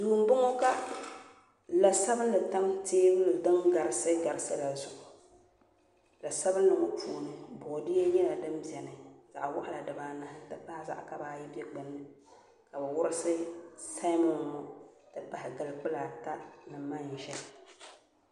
Duu n boŋo ka la sabinli tam teebuli din garisi garisi la zuɣu la sabinli ŋo puuni boodiyɛ nyɛla din bɛni zaɣ waɣala dibaanahi n ti pahi zaɣ kaba ata bɛ gbunni ka bi wurisi seemon ŋo ni manʒa